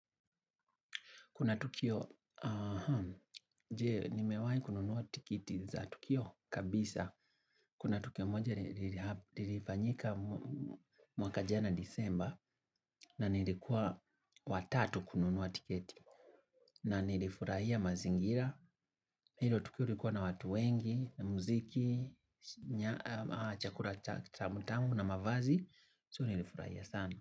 Kuna tukio, jee nimewai kununuwa tikiti za tukio kabisa. Kuna tukio moja ilifanyika mwaka jana Desemba na nilikuwa wa tatu kununuwa tikiti. Na nilifurahia mazingira, hilo tukio ilikuwa na watu wengi, muziki, chakula cha utamu na mavazi, so nilifurahia sana.